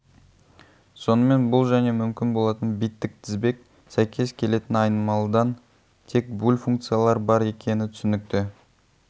сонымен бұл және мүмкін болатын биттік тізбек сәйкес келетін айнымалыдан тек буль функциялар бар екені түсінікті